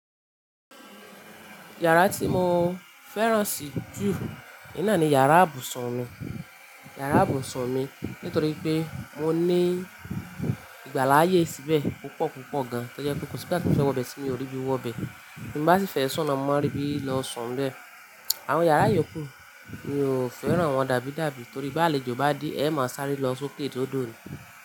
Yàrá tí mo fẹ́ràn sì jù naà ni yàrá ibùsùn mi nítorí pé mo ní ìgbáláyé síbẹ̀ púpọ̀ púpọ̀ gan. Tó jẹ́ pé kò sí ìgbà tí bá ti fẹ́ wọ̀ bẹ́ẹ̀ tí mi ò rí bí wọ̀ bẹ́ẹ̀. Bí mo bá sì fẹ́ sùn naa, mo máa rí bí lọ sùn bẹ̀. Àwọn yàrá ìyókù mi ò fẹ́ràn wọn dàbí dàbí torí bí àlejò bá dé, ẹ máa sáré lọ sókè si òdò ni.